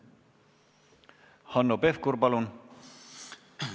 Hanno Pevkur, palun!